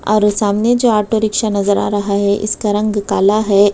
और ओ सामने जो ऑटो रिक्शा नजर आ रहा है इसका रंग काला है।